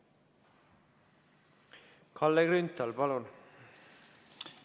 Kalle Grünthal, palun!